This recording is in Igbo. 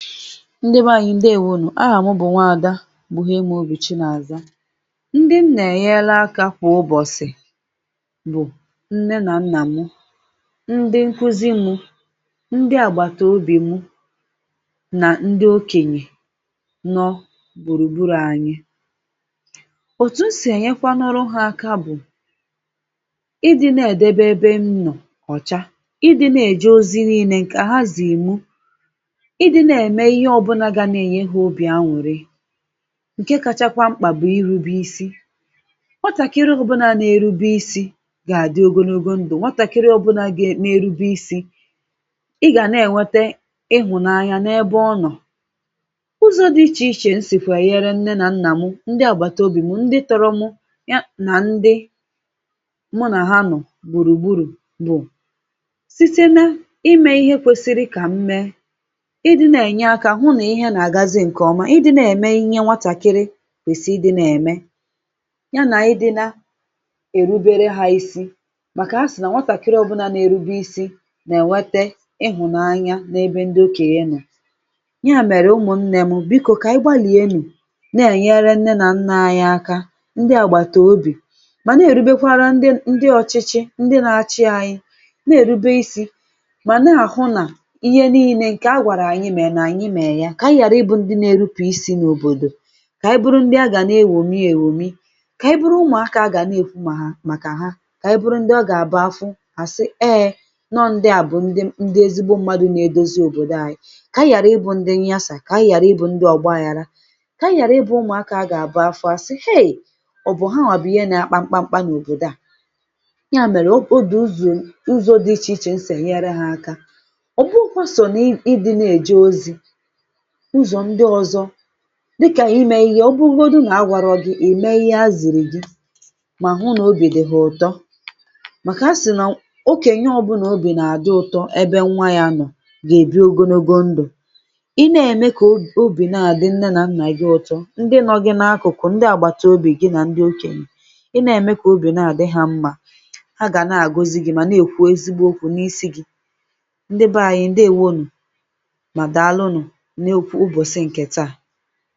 Ndị be anyị̀ ndeewonù, ahà mụ bụ̀ nwaàda Buhiemaobi Chinaza, ndị m nà-ènyere akȧ kwà ụbọ̀sị̀ bụ̀ nne nà nnà mụ, ndị nkuzi mụ̇, ndị àgbàtà obì mụ, nà ndị okènyè nọ gbùrùgburù anyị; òtù m sì ènyekwanuru ha aka bụ idi na edebe ébé m nọ̀ ọ̀cha, ịdị̇ na-èje ozi n’inė ǹkà ha zị̀ri mụ̇, idi na-eme ihe ọbụna ga na-enye ha obi añụrị ǹke kachakwa mkpà bụ̀ ịrụ̇be isi nwatàkiri ọbụlà nà-erube isi̇ gà-àdị ogologo ndụ̀, nwatàkiri ọbụlà nà-erube isi̇ ị gà na-ènwete ịhụ̇nanya n’ebe ọ nọ̀; ụzọ̇ dị ichèichè n sìkwa ènyèrè nne nà nnà mụ, ndị àgbàtà obì mụ, ndị tọrọ mụ̇ ya nà ndị [paues]mụ nà ha nọ̀ gbùrùgburù, bụ̀ site na ime ihe kwesịrị ka m mee, ịdị na-enye aka hụ na ihe na-aga nke ọma, ịdị nà-ème ihe nwatàkịrị kwèsị ịdị na-ème ya, nà ịdịna èrubere ha isi, màkà ha sì nà nwatàkịrị ọbụlà nà-erube isi nà-ènwete ịhụ̀nanya n’ebe ndị okènyè nọ; ya mèrè, ụmụ̀ nne m bìko kà anyị gbalìe nù na-ènyere nne nà nnà àyị aka, ndị àgbàtà obì, mà na-èrubekwara ndị ọchịchị ndị na-achị anyị na-èrube isi̇, mà na-àhụ nà ihe niine ǹkè a gwàrà ànyị mèrè, nà anyị mere ya, kà ànyị ghàra ịbụ̇ ndị na-erupù isi̇ n’òbòdò, kà ànyị buru ndị à gà na-èñòmi èñòmi; kà ànyị buru ụmụ̀ akȧ gà na-èkwu mà ha, màkà ha, kà ànyị buru ndị ọ gà-àbụ afụ hà sị eeɛ, nọọ ndị à bụ̀ ndị ezigbo mmadụ̇ na-edozi òbòdo anyị̇, kà ànyị ghàra ịbụ̇ ndị nñasa, kà ànyị ghàra ịbụ̇ ndị ọ̀gbaagharȧ, kà ànyị ghàra ịbụ̇ ụmụ̀ akȧ gà-àbụ afụ àsị heì ọbu ha, wà àbụ̀ ihe na-akpa mkpamkpa n’òbòdò à; ya mèrè, o bu o dị̇ ụzọ̇ dị ichè ichè esi enyere hȧ aka; ọ bụghikwa sọ̀ na n’idi na-èje ozi ụzọ ndị ọzọ dịkà imė ihe oburugodi nà agwàrọ̇ gi ime ihe azị̀rị̀ gị, mà hụ n’obì dị hȧ ụ̀tọ, màkà si na okènye ọbụlà obì nà-àdị ụtọ ebe nwa ya nọ̀ gà-èbi ogologo ndụ̀, i ne-ème kà obì obi na-àdị nne nà nnà gị ụtọ, ndị nọ gị n’akụ̀kụ̀, ndị àgbàtà obì gị, nà ndị okènyè i nà-ème kà obì na-àdị hȧ mmȧ a gà na-àgozi gị̇, mà na-èkwu ezigbo okwu̇ n’isi gi̇; ndị baa anyị̇ ndeèwo nù, ma dalu nu N’okwù ụbọ̀sị̀ nke taa.